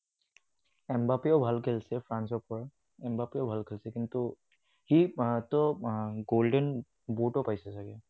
এমবাপেও ভাল খেলিছে, ফ্ৰান্সৰ পৰা, এমবাপেও ভাল খেলিছে। কিন্তু সি ত golden boot ও পাইছে চাগে।